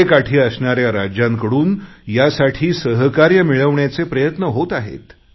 गंगेकाठी असणाऱ्या राज्यांकडून यासाठी सहकार्य मिळवण्याचे प्रयत्न होत आहेत